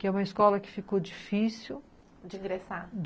Que é uma escola que ficou difícil... De ingressar.